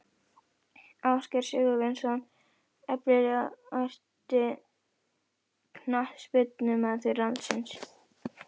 Ásgeir Sigurvinsson Efnilegasti knattspyrnumaður landsins?